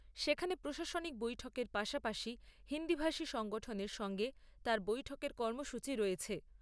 সেখানে প্রশাসনিক বৈঠকের পাশাপাশি হিন্দিভাষী সংগঠনের সঙ্গে তাঁর বৈঠকের কর্মসূচী রয়েছে।